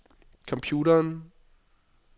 computeren